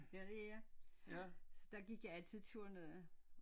Ja det er jeg så der gik jeg altid ture ned